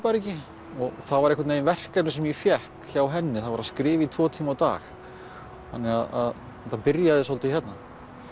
bara ekki og það var einhvern veginn verkefni sem ég fékk hjá henni það var að skrifa í tvo tíma á dag þannig að þetta byrjaði svolítið hérna